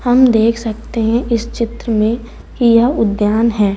हम देख सकते हैं इस चित्र में की यह उद्यान है।